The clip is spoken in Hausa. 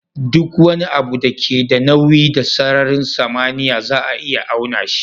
Duk wani abu da ke da nauyi da sararin samaniya za a iya auna shi